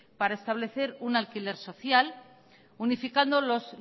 para establecer un alquiler social unificando los